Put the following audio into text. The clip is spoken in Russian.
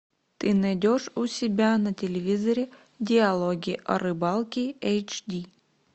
ты найдешь у себя на телевизоре диалоги о рыбалке эйч ди